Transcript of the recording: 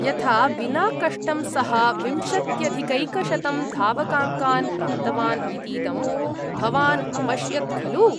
यथा विनाकष्टं सः विंशत्यधिकैकशतं धावकाङ्कान् प्राप्तवान् इतीदं भवान् अपश्यत् खलु।